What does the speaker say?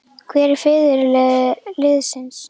Hver er fyrirliði liðsins?